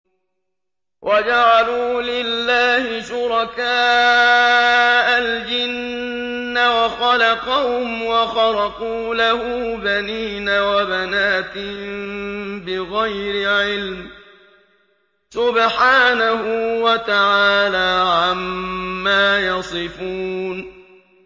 وَجَعَلُوا لِلَّهِ شُرَكَاءَ الْجِنَّ وَخَلَقَهُمْ ۖ وَخَرَقُوا لَهُ بَنِينَ وَبَنَاتٍ بِغَيْرِ عِلْمٍ ۚ سُبْحَانَهُ وَتَعَالَىٰ عَمَّا يَصِفُونَ